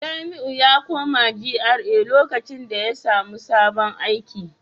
Jamiu ya koma GRA lokacin da ya samu sabon aiki